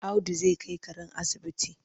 Audu zai kai karen asibiti ne?